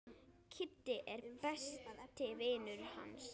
Kiddi er besti vinur hans.